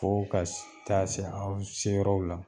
Fo ka s taa se aw seyɔrɔw la